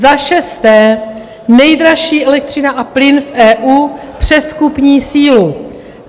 Za šesté, nejdražší elektřina a plyn v EU přes kupní sílu.